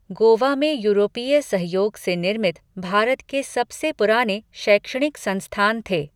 गोवा में यूरोपीय सहयोग से निर्मित भारत के सबसे पुराने शैक्षणिक संस्थान थे।